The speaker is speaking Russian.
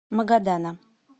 магадана